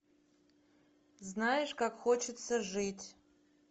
знаешь как хочется жить